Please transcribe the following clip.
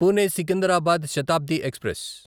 Pune Secunderabad Shatabdi express